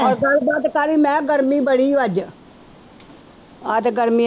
ਹੋਰ ਗੱਲਬਾਤ ਕਾਹਦੀ ਮੈਂ ਕਿਹਾ ਗਰਮੀ ਬੜੀ ਅੱਜ ਆਹ ਤੇ ਗਰਮੀ